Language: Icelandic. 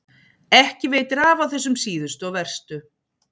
Ekki veitir af á þessum síðustu og verstu.